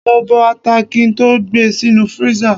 Mo bọ ata kí n tó gbe sínú freezer.